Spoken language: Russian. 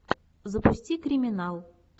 запусти криминал